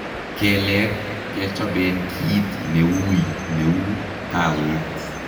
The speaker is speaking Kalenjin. Keleek kechobeen kiit neui neuu kaweet